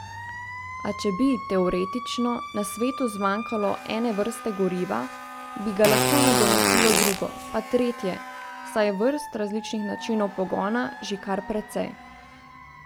A če bi, teoretično, na svetu zmanjkalo ene vrste goriva, bi ga lahko nadomestilo drugo, pa tretje, saj je vrst različnih načinov pogona že kar precej.